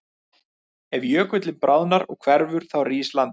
Ef jökullinn bráðnar og hverfur þá rís landið.